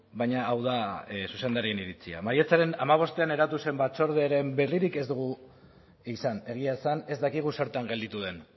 baina hau da zuzendarien iritzia maiatzaren hamabostean eratu zen batzorderen berririk ez dugu izan egia esan ez dakigu zertan gelditu den